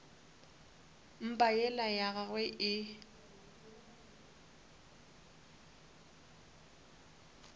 mpa yela ya gagwe e